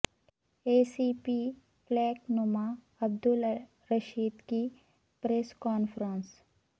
اے سی پی فلک نما عبدالرشید کی press conference